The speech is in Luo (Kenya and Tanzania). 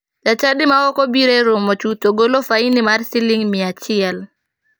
Jachadi ma ok obiro e romo chuth to golo faini mar siling miya achiel.